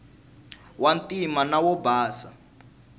wa ntima na wo basa